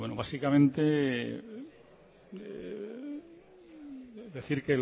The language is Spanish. básicamente decir